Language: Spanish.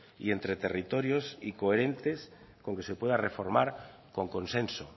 y entre territorios y coherentes con que se pueda reformar con consenso